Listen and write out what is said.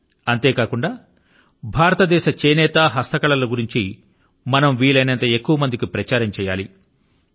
అంతేకాకుండా భారతదేశం యొక్క చేనేత గురించి భారతదేశం యొక్క హస్తకళల ను గురించి మనం వీలైనంత ఎక్కువ మంది కి ప్రచారం చేయాలి